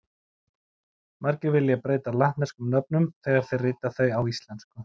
Margir vilja breyta latneskum nöfnum þegar þeir rita þau á íslensku.